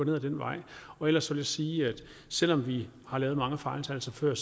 ud ad den vej ellers vil jeg sige at selv om vi har lavet mange fejltagelser før